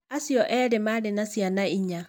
Acio erĩ maarĩ na ciana inya.